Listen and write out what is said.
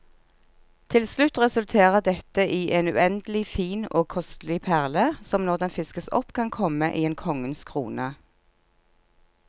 Til slutt resulterer dette i en uendelig fin og kostelig perle, som når den fiskes opp kan komme i en konges krone.